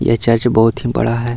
ये चर्च बहुत ही बड़ा है।